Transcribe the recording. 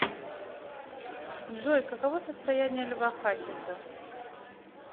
джой каково состояние льва хасиса